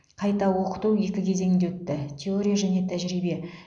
қайта оқыту екі кезеңде өтті теория және тәжірибе